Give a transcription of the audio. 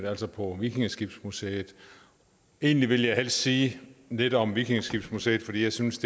altså på vikingeskibsmuseet egentlig ville jeg helst sige lidt om vikingeskibsmuseet fordi jeg synes